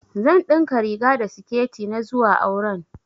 Zan ɗinka riga da siketi na zuwa auren